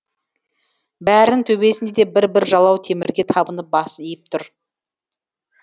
бәрінің төбесінде де бір бір жалау темірге табынып басын иіп тұр